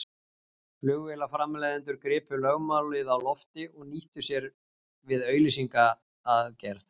Flugvélaframleiðendur gripu lögmálið á lofti og nýttu sér við auglýsingagerð.